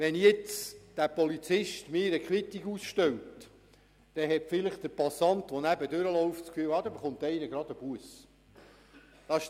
Wenn nun der Polizist mir eine Quittung ausstellt, hat vielleicht der Passant, der neben mir vorbeigeht, den Eindruck, dass hier jemand eine Busse erhalte.